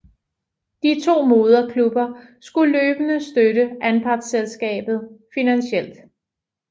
De to moderklubber skulle løbende støtte anpartselskabet finansielt